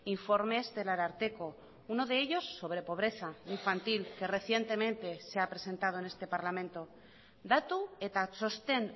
informes del ararteko uno de ellos sobre pobreza infantil que recientemente se ha presentado en este parlamento datu eta txosten